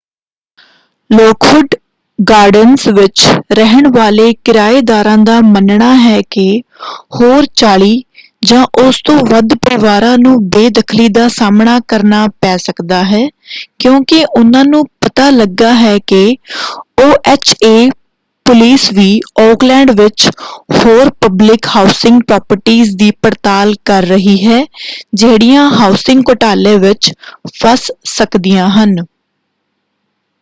Lockwood Gardens ਵਿੱਚ ਰਹਿਣ ਵਾਲੇ ਕਿਰਾਏਦਾਰਾਂ ਦਾ ਮੰਨਣਾ ਹੈ ਕਿ ਹੋਰ 40 ਜਾਂ ਉਸ ਤੋਂ ਵੱਧ ਪਰਿਵਾਰਾਂ ਨੂੰ ਬੇਦਖਲੀ ਦਾ ਸਾਹਮਣਾ ਕਰਨਾ ਪੈ ਸਕਦਾ ਹੈ ਕਿਉਂਕਿ ਉਹਨਾਂ ਨੂੰ ਪਤਾ ਲੱਗਾ ਹੈ ਕਿ ਓਐਚਏ ਪੁਲਿਸ ਵੀ ਓਕਲੈਂਡ ਵਿੱਚ ਹੋਰ ਪਬਲਿਕ ਹਾਉਸਿੰਗ ਪ੍ਰੋਪਰਟੀਜ਼ ਦੀ ਪੜਤਾਲ ਕਰ ਰਹੀ ਹੈ ਜਿਹੜੀਆਂ ਹਾਉਸਿੰਗ ਘੋਟਾਲੇ ਵਿੱਚ ਫੱਸ ਸਕਦੀਆਂ ਹਨ।